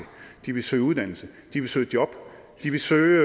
de vil søge uddannelse de vil søge job de vil søge